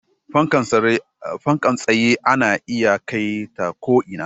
Fankar tsaye ana iya kai ta ko'ina